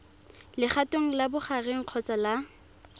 legatong la bogareng kgotsa la